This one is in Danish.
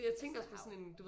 Vesterhav